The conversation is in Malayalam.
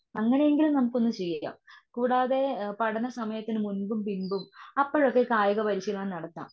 അങ്ങനെയെങ്കിൽ നമുക്കൊന്ന് ചെയ്യാം. കൂടാതെ പഠന സമയത്തിന് മുമ്പും പിമ്പും അപ്പോഴൊക്കെ ഈ കായിക പരിശീലനം നടത്താം.